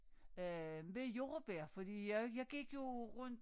Øh med jordbær fordi jeg jeg gik jo rundt